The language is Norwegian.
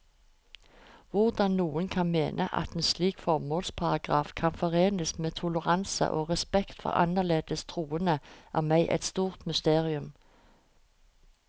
Hvordan noen kan mene at en slik formålsparagraf kan forenes med toleranse og respekt for annerledes troende, er meg et stort mysterium.